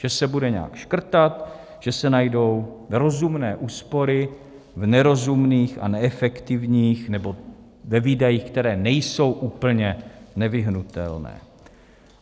Že se bude nějak škrtat, že se najdou rozumné úspory v nerozumných a neefektivních nebo ve výdajích, které nejsou úplně nevyhnutelné.